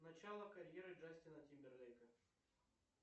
начало карьеры джастина тимберлейка